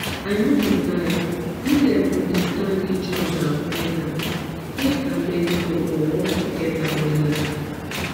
i no go lie when dem understand each other wella faith and medicine go work together wella